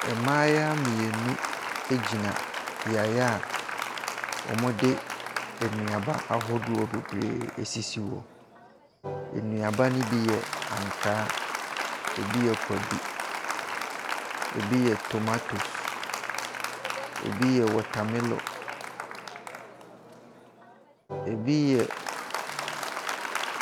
Mmaayewa mmienu agyina beaeɛ a wɔde nnuaba bebree asisi hɔ, nnuaba no bi yɛ ankaa, ɛbi yɛ kwadu, ɛbi yɛ tomatoes, ɛbi yɛ watermelon, ɛbi yɛ .